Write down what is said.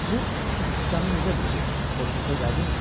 Bu Su Siçanı necə biridir, xoşunuza gəldimi?